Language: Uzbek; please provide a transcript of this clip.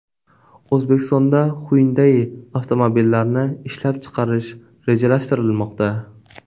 O‘zbekistonda Hyundai avtomobillarini ishlab chiqarish rejalashtirilmoqda .